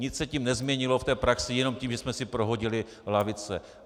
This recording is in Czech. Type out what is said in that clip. Nic se tím nezměnilo v té praxi jenom tím, že jsme si prohodili lavice.